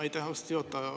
Aitäh, austatud juhataja!